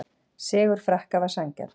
Sigur Frakka var sanngjarn